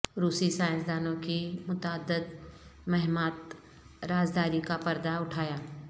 روسی سائنسدانوں کی متعدد مہمات رازداری کا پردہ اٹھایا